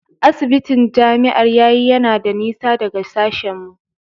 Asibitin Jami'ar yayi yana da nisa daga sashen mu.